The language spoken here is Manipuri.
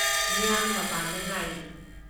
ꯃꯤꯌꯥꯝꯅ ꯃꯄꯥꯟꯗ ꯉꯥꯏꯔꯤ ꯫